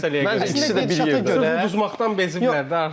Məncə özləri də beziblər uduzmaqdan beziblər.